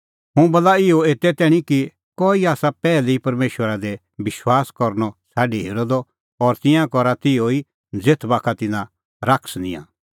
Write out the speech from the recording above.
हुंह बोला इहअ एते तैणीं किल्हैकि कई आसा पैहलै ई परमेशरा दी विश्वास करनअ छ़ाडी हेरअ द और तिंयां करा तिहअ ज़ेथ बाखा तिन्नां शैतान निंयां